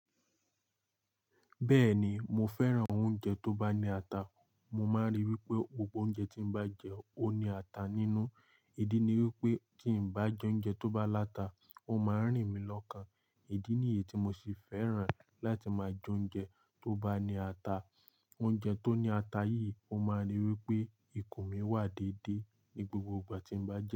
Bẹ́ẹ̀ni mo fẹ́ràn oúnjẹ tó bá ní ata. Mo máa ń ríi wípé gbogbo oúnjẹ tí mo bá jẹ ó ní ata nínú. Idí ní wípé tí n bá jẹ oúnjẹ tó bá láta, ó máa ń rìn mí lọ́kàn. Idí ní yìí tí mo sì fẹ́ràn láti máa jẹ oúnjẹ tó bá ní ata. Oúnjẹ tó ní ata yìí ó máa ń rí wípé ikùn mi wà dédé ní gbogbo ìgbà tí mo bá jẹ ẹ́.